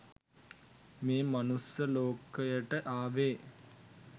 මේ මනුස්ස ලෝකයට ආවේ